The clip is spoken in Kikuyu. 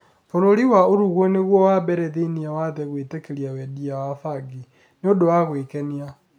Bũrũri wa Uruguay nĩguo wa mbere thĩinĩ wa thĩ gũitĩkĩria wendia wa bangi. Niũndũ wa gũĩkenia.